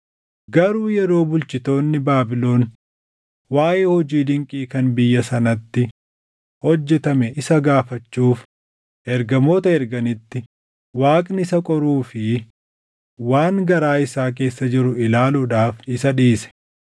Garuu yeroo bulchitoonni Baabilon waaʼee hojii dinqii kan biyya sanatti hojjetamee isa gaafachuuf ergamoota erganitti Waaqni isa qoruu fi waan garaa isaa keessa jiru ilaaluudhaaf isa dhiise.